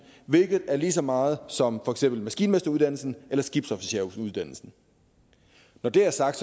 hvilket er lige så meget som for eksempel maskinmesteruddannelsen eller skibsofficeruddannelsen når det er sagt